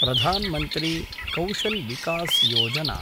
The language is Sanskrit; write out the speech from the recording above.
प्रधान् मन्त्री कौशल् विकस् योजना